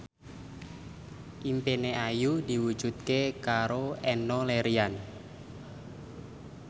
impine Ayu diwujudke karo Enno Lerian